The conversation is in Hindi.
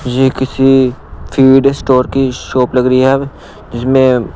ये किसी फीड स्टोर की शॉप लग रही है जिसमें--